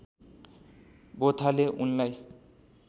बोथाले उनलाई